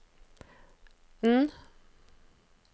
N